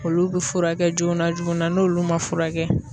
Olu be furakɛ joona joona, n'olu ma furakɛ